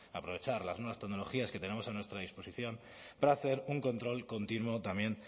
aprovechar las nuevas tecnologías que tenemos a nuestra disposición para hacer un control continuo también